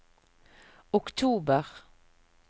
oktober